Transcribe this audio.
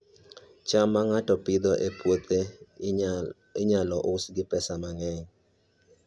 cham ma ng'ato Pidhoo e puothe, inyalo uso gi pesa mang'eny